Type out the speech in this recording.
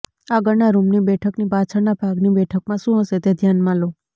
આગળના રૂમની બેઠકની પાછળના ભાગની બેઠકમાં શું હશે તે ધ્યાનમાં લો